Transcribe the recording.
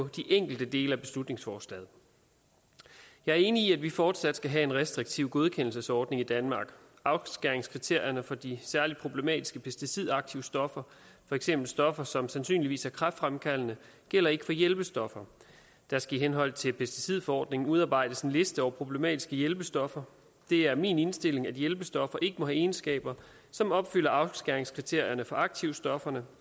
de enkelte dele af beslutningsforslaget jeg er enig i at vi fortsat skal have en restriktiv godkendelsesordning i danmark afskæringskriterierne for de særligt problematiske pesticidaktive stoffer for eksempel stoffer som sandsynligvis er kræftfremkaldende gælder ikke for hjælpestoffer der skal i henhold til pesticidforordningen udarbejdes en liste over problematiske hjælpestoffer det er min indstilling at hjælpestoffer ikke må have egenskaber som opfylder afskæringskriterierne for aktivstofferne